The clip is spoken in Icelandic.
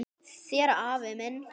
Þér afi minn.